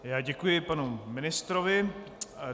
Já děkuji panu ministrovi.